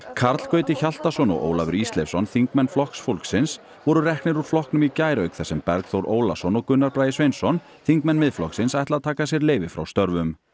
Karl Gauti Hjaltason og Ólafur Ísleifsson þingmenn Flokks fólksins voru reknir úr flokknum í gær auk þess sem Bergþór Ólason og Gunnar Bragi Sveinsson þingmenn Miðflokksins ætla að taka sér leyfi frá störfum